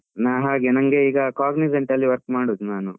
ನಾನು ಹಾಗೆ ನಂಗೆ ಈಗ Cognizant ಅಲ್ಲಿ work ಮಾಡುದು ನಾನು.